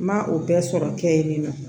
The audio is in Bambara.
N ma o bɛɛ sɔrɔ kɛ yen nɔ